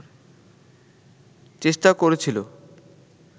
চেষ্টা করেছিল